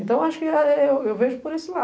Então, acho que eu vejo por esse lado.